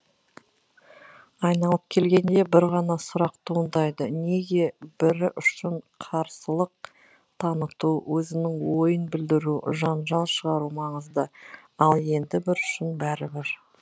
айналып келгенде бір ғана сұрақ туындайды неге бірі үшін қарсылық таныту өзінің ойын білдіру жанжал шығару маңызды ал енді бірі үшін бәрібір